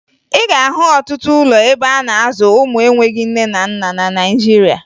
Ị ga-ahụ ọtụtụ ụlọ ebe a na-azụ ụmụ enweghi nne na nna na Naịjirịa